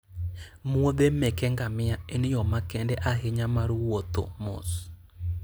muodhe meke ngamia en yo makende ahinya mar wuotho mos.